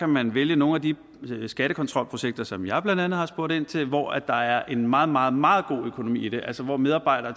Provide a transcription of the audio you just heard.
man vælge nogle af de skattekontrolprojekter som jeg blandt andet har spurgt ind til hvor der er en meget meget meget god økonomi i det altså hvor medarbejdere